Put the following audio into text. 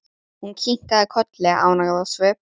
Hún kinkaði kolli, ánægð á svip.